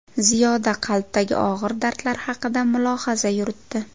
Ziyoda qalbdagi og‘ir dardlar haqida mulohaza yuritdi.